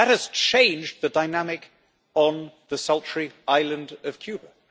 But that has changed the dynamic on the sultry island of Cuba.